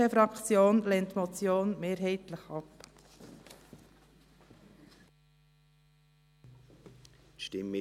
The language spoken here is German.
Die BDPFraktion lehnt die Motion mehrheitlich ab.